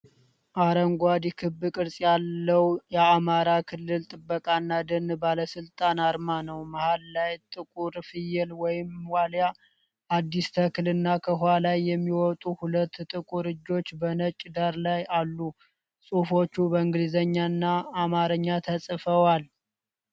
አረንጓዴ ክብ ቅርጽ ያለው የአማራ አካባቢ ጥበቃና ደን ባለስልጣን አርማ ነው። መሃል ላይ ጥቁር ፍየል ወይም ዋልያ፣ አዲስ ተክል እና ከውሃ ላይ የሚወጡ ሁለት ጥቁር እጆች በነጭ ዳራ ላይ አሉ። ጽሑፎች በእንግሊዝኛና አማርኛ ተጽፈዋል።